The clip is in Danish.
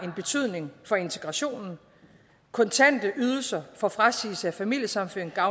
af betydning for integrationen kontante ydelser for frasigelse af familiesammenføringsret